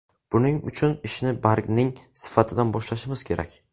Buning uchun ishni bargning sifatidan boshlashimiz kerak.